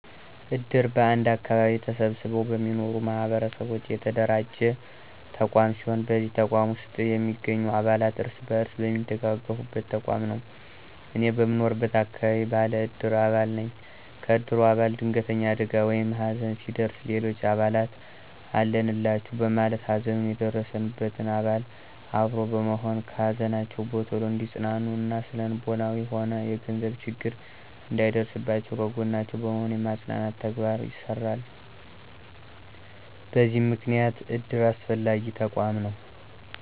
እድር በአንድ አከባቢ ተሰብስበው በሚኖሩ ማህበረሰቦች የተደራጀ ተቋም ሲሆን በዚህ ተቋም ውስጥ የሚገኙ አባላት እርስ በርስ የሚደጋገፉበት ተቋም ነው። እኔም በምኖርበት አከባቢ ባለ እድር አባል ነኝ። ከእድሩ አባላት ድንገተኛ አደጋ ወይም ሀዘን ሲደርስ ሌሎች አባላት አለንላቹ በማለት ሀዘኑ የደረሰበትን አባል አብሮ በመሆን ከሀዘናቸው በቶሎ እንዲፅናኑ እና ስነልቦናዊም ሆነ የገንዘብ ችግር እንዳይደርስባቸው ከጎናቸው በመሆን የማፅናናት ተግባር ይሰራሉ በዚህም ምክንያት እድር አስፈላጊ ተቋም ነው።